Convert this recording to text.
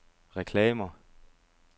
reklamer